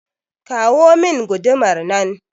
kawo min gudumar nan